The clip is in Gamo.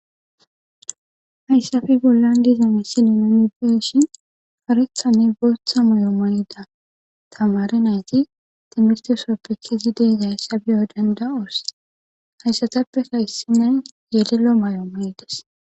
hayssappe bollan diza.misilen nuni beyshin fareththanne bootha mayo manida tamare nayti timistesopekezi deyza hayssabi odendawus hayssatappetayssine yelelo mayo manides